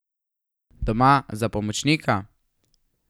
Doma za pomočnika?